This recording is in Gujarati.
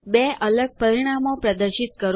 બે અલગ પરિણામો પ્રદર્શિત કરો